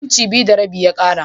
Inci biyu da rabi ya ƙara.